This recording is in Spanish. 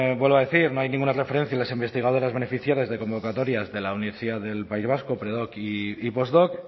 vuelvo a decir no hay ninguna referencia a las investigadoras beneficiarias de convocatorias de la universidad del país vasco predoc y postdoc